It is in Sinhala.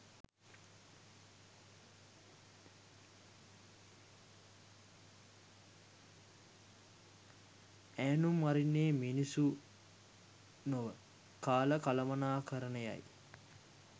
ඈනුම් අරින්නේ මිනිස්සු නොව කාල කළමණාකරණයයි